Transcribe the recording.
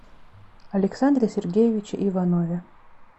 александре сергеевиче иванове